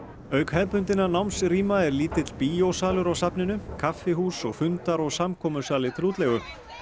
auk hefðbundinna er lítill bíósalur á safninu kaffihús og fundar og til útleigu